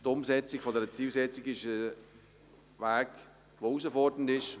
Die Umsetzung dieser Zielsetzung ist ein Weg voller Herausforderungen.